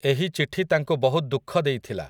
ଏହି ଚିଠି ତାଙ୍କୁ ବହୁତ ଦୁଃଖ ଦେଇଥିଲା ।